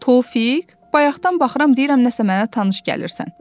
Tofiq, bayaqdan baxıram deyirəm nəsə mənə tanış gəlirsən."